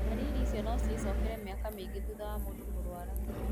Ndariri icio no ĩcokerereke mĩaka mĩingĩ thutha wa mũndũ kũrũara.